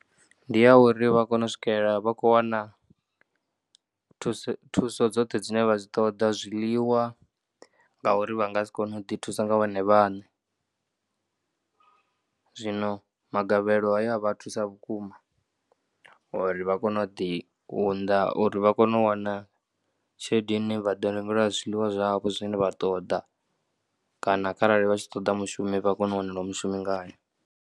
Ndi ya uri vha kone u swikela vha khou wana thuso dzoṱhe dzine vha dzi ṱoḓa zwiḽiwa ngauri vha nga si kone u ḓithusa nga vhone vhaṋe zwino magavhelo haya a vha thusa vhukuma uri vha kone u ḓiunḓa uri vha kone u wana tshelede ine vha ḓo rengelwa zwiḽiwa zwavho zwine vha ṱoḓa kana kharali vha tshi ṱoḓa mushumi vha kone u wanelwa mushumi ngayo.